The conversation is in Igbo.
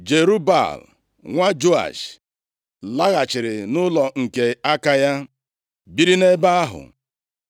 Jerub-Baal, nwa Joash laghachiri nʼụlọ nke aka ya, biri nʼebe ahụ.